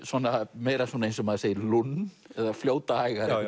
meira eins og maður segir lund eða fljóta hægar